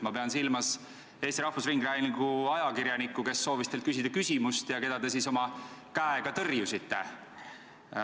Ma pean silmas Eesti Rahvusringhäälingu ajakirjanikku, kes soovis teilt küsida küsimust ja keda te käega tõrjusite.